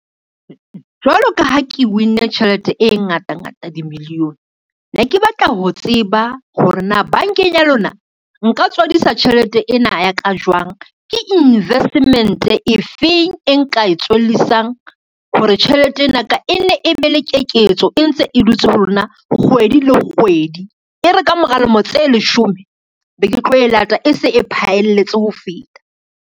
Jwalo ka ha ke win-e tjhelete e ngata ngata di-million, ne ke batla ho tseba hore na bankeng ya lona nka tswadisa tjhelete ena ya ka jwang, ke investment efe eng e nka e tswellisang hore tjhelete ena ka e nne e be le keketso e ntse e dutse ho lona kgwedi le kgwedi. E re ka mora lemo tse leshome, be ke tlo e lata e se e phaelletse ho feta.